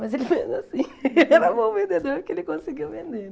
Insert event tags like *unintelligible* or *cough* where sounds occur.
Mas ele *unintelligible* assim *laughs* era bom vendedor porque ele conseguiu vender.